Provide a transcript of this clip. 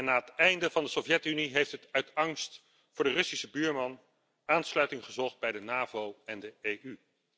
Na het einde van de Sovjet Unie heeft het uit angst voor de Russische buurman aansluiting gezocht bij de NAVO en de EU.